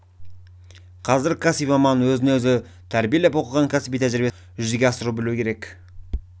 қазіргі кәсіби маман өзін-өзі тәрбиелеп оқыған кәсіби тәжірибесін бағалап жүзеге асыра білу керек